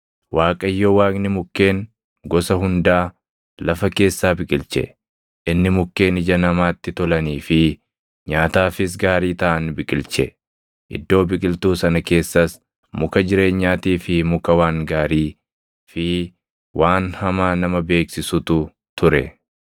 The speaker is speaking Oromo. Waaqayyo Waaqni mukkeen gosa hundaa lafa keessaa biqilche; inni mukkeen ija namaatti tolanii fi nyaataafis gaarii taʼan biqilche. Iddoo biqiltuu sana keessas muka jireenyaatii fi muka waan gaarii fi waan hamaa nama beeksisutu ture.